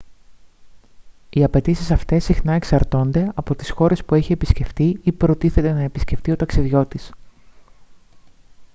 οι απαιτήσεις αυτές συχνά εξαρτώνται από τις χώρες που έχει επισκεφτεί ή προτίθεται να επισκεφτεί ο ταξιδιώτης